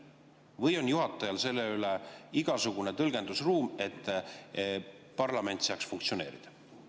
Või on juhatajal siin igasugune tõlgendusruum, et parlament saaks funktsioneerida?